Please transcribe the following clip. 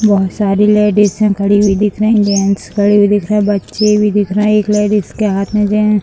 बहुत सारी लेडीजे खड़ी हुई दिख रही जेंट्स खड़े हुए दिख रहे बच्चे भी दिख रहे एक लेडिज के हाथ में जेंट्स --